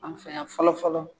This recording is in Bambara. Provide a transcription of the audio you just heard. An fɛ yan fɔlɔ fɔlɔ